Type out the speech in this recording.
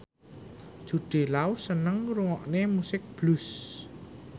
Jude Law seneng ngrungokne musik blues